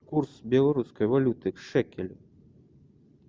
курс белорусской валюты к шекелю